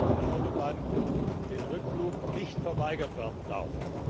Stau auf der Autobahn, der Rückflug nicht verweigert werden darf.